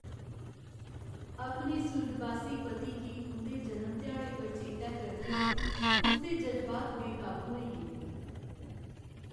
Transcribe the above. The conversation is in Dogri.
अपने सुर्गबासी पति गी उं'दे जनम ध्याड़े पर चेतै करदे उसदे जज़्बात बेकाबू होई गे।